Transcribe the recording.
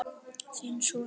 Þinn sonur Magnús.